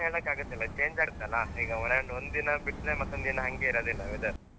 ಕಡೆ ಹೇಳೋಕಾಗುದಿಲ್ಲ change ಆಗುತಳ್ಳ ಅಂದ್ರೆ ಒಂದಿನ ಬಿಟ್ರೆ ಇನ್ನೊಂದಿನ ಹಂಗೆ ಇರೋದಿಲ್ಲ weather .